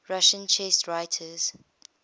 russian chess writers